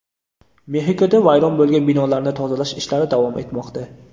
Mexikoda vayron bo‘lgan binolarni tozalash ishlari davom etmoqda.